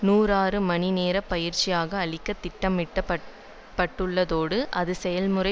நாநூறு மணி நேரப் பயிற்சியாக அளிக்க திட்டமிடப்பட் பட்டுள்ளதோடு அது செயல்முறை